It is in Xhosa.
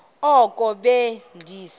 oko be ndise